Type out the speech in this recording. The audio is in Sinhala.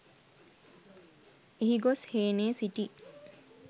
එහි ගොස් හේනේ සිටි